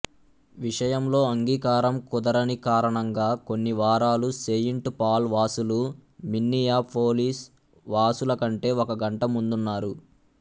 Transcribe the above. విషయంలో అంగీకారం కుదరని కారణంగా కొన్ని వారాలు సెయింట్ పాల్ వాసులు మిన్నియాపోలిస్ వాసులకంటే ఒక గంట ముందున్నారు